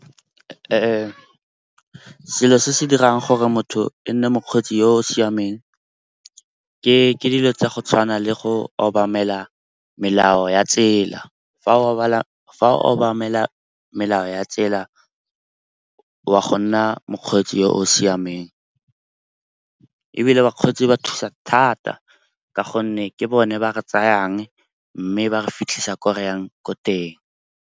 Selo se se dirang gore motho e nne mokgweetsi yo o siameng ke dilo tsa go tshwana le go obamela melao ya tsela. Fa o obamela melao ya tsela wa go nna mokgweetsi yo o siameng ebile bakgweetsi ba thusa thata ka gonne ke bone ba re tsayang, mme ba re fitlhisa ko reyang ko teng.